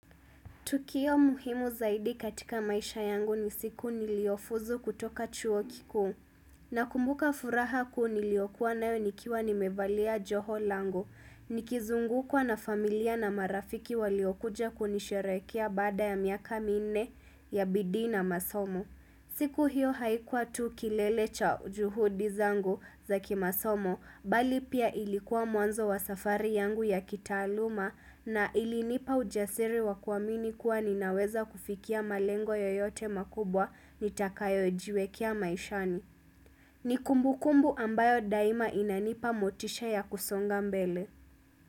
Tukio muhimu zaidi katika maisha yangu ni siku niliofuzu kutoka chuo kikuu. Nakumbuka furaha kuu niliyokuwa nayo nikiwa nimevalia joho lango. Nikizungukwa na familia na marafiki waliokuja kunisherekea baada ya miaka minne ya bidii na masomo. Siku hiyo haikuwa tu kilele cha juhudi zangu za kimasomo bali pia, ilikuwa mwanzo wa safari yangu ya kitaaluma na ilinipa ujasiri wa kuamini kuwa ninaweza kufikia malengo yoyote makubwa nitakayojiwekea maishani. Ni kumbukumbu ambayo daima inanipa motisha ya kusonga mbele.